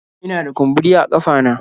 Ina da kumburi a kafa na